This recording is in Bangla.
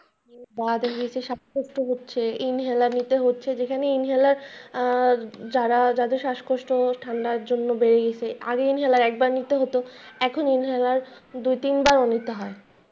বা যাদের শাসকষ্ট হচ্ছে ইনহেলার নিতে হচ্ছে যেখানে ইনহেলার দ্বারা যাদের শাসকষ্ট ঠান্ডার জন্য বেড়ে গেছে আগে ইনহেলার একবার নিতে হতো এখন ইনহেলার দুই তিনবারও নিতে হয়।